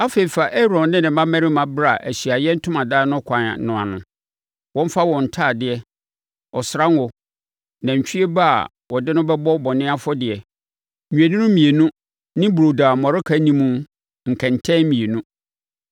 “Afei fa Aaron ne ne mmammarima bra Ahyiaeɛ Ntomadan no kwan no ano. Wɔmfa wɔn ntadeɛ, ɔsra ngo, nantwie ba a wɔde no bɛbɔ bɔne afɔdeɛ, nnwennini mmienu ne burodo a mmɔreka nni mu nkɛntɛmma mmienu